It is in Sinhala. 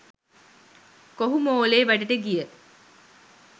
කොහු මෝලේ වැඩට ගිය